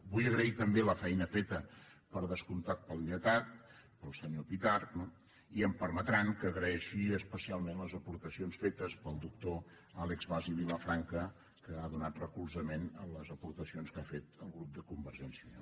vull agrair també la feina feta per descomptat pel lletrat pel senyor pitarch no i em permetran que agraeixi especialment les aportacions fetes pel doctor àlex bas i vilafranca que ha donat recolzament a les aportacions que ha fet el grup de convergència i unió